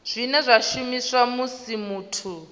zwine zwa shumiswa musi muthu